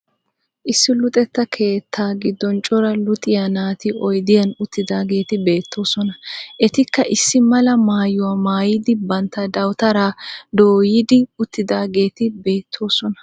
Issi luxetta keetta giddon cora luxiya naati oyidiyan uttidaageti beettoosona. Etikka issi mala maayuwa mayidi bantta dawutaraa dooyidi uttidaageeti beettoosona.